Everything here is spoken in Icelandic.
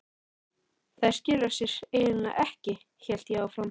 Þær skila sér eiginlega ekki, hélt ég áfram.